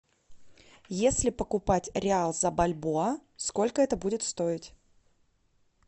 если покупать реал за бальбоа сколько это будет стоить